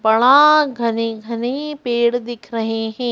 बड़ा घने-घने पेड़ दिख रहे हैं।